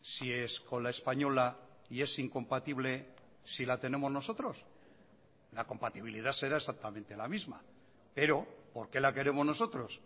si es con la española y es incompatible si la tenemos nosotros la compatibilidad será exactamente la misma pero por qué la queremos nosotros